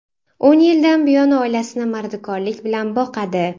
O‘n yildan buyon oilasini mardikorlik bilan boqadi.